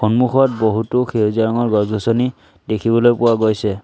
সন্মুখত বহুতো সেউজীয়া ৰঙৰ গছ গছনি দেখিবলৈ পোৱা গৈছে।